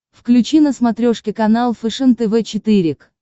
включи на смотрешке канал фэшен тв четыре к